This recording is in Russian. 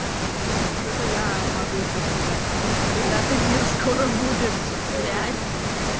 зато я могу что сказать ребята эфир скоро будет